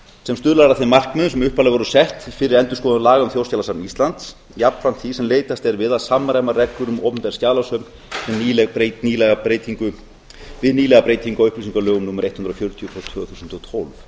sem stuðlar að þeim markmiðum sem upphaflega voru sett fyrir endurskoðun laga um þjóðskjalasafn íslands jafnframt því sem leitast er við að samræma reglur um opinber skjalasöfn við nýlega breytingu á upplýsingalögum númer hundrað og fjörutíu tvö þúsund og tólf